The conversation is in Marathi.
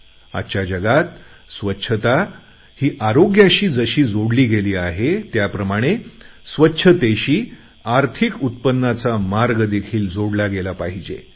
आजच्या जगात स्वच्छता ही आरोग्याशी जशी जोडली गेली आहे त्याप्रमाणे स्वच्छतेशी आर्थिक उत्पन्नाचा मार्ग देखील जोडला गेला पाहिजे